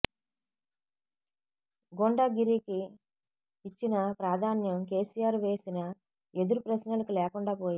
గుండాగిరీకి ఇచ్చిన ప్రాధాన్యం కెసిఆర్ వేసిన ఎదురు ప్రశ్నలకు లేకుండా పోయింది